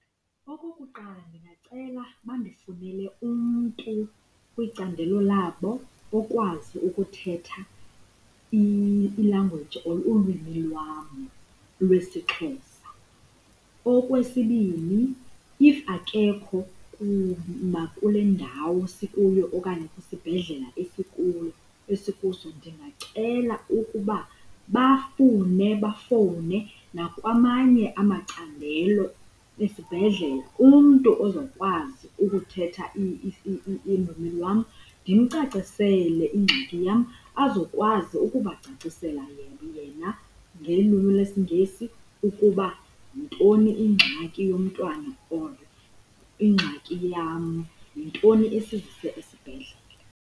Okokuqala, ndingacela bandifunele umntu kwicandelo labo okwazi ukuthetha i-language or ulwimi lwam lwesiXhosa. Okwesibini, if akekho nakule ndawo sikuyo okanye kwisibhedlela esikuso ndingacela ukuba bafune bafowune nakwamanye amacandelo esibhedlele umntu ozokwazi ukuthetha ilwimi lwam, ndimcacisele ingxaki yam, azokwazi ukubacacisela yena ngelwimi lwesiNgesi ukuba yintoni ingxaki yomntwana or ingxaki yam, yintoni esizise esibhedlele.